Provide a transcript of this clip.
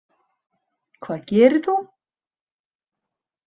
Hvað gerir þú?